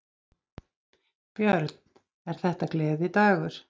Björn: Er þetta gleðidagur?